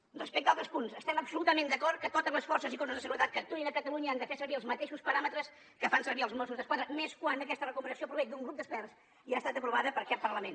respecte altres punts estem absolutament d’acord que totes les forces i cossos de seguretat que actuïn a catalunya han de fer servir els mateixos paràmetres que fan servir els mossos d’esquadra i més quan aquesta recomanació prové d’un grup d’experts i ha estat aprovada per aquest parlament